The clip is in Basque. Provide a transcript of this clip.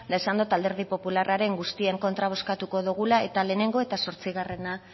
eta esan dot alderdi popularraren guztien kontra bozkatuko dogula eta lehenengo eta zortzigarrena